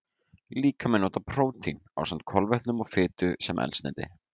Líkaminn notar prótín, ásamt kolvetnum og fitu, sem eldsneyti.